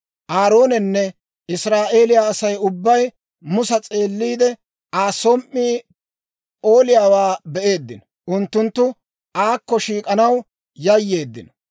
Aaroonenne Israa'eeliyaa Asay ubbay Musa s'eeliide, Aa som"ii p'ooliyaawaa be'eeddino; Unttunttu aakko shiik'anaw yayyeeddino.